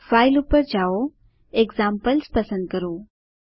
file પર જાઓ examples પસંદ કરો